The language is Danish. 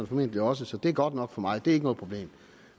formentlig også så det er godt nok for mig det er ikke noget problem